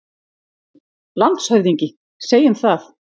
LANDSHÖFÐINGI: Segjum það.